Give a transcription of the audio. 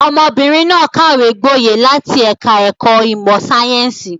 Ọmọbìnrin náà kàwé gboyè láti ẹ̀ka-ẹ̀kọ́ ìmọ̀-sáyẹ́ńsì.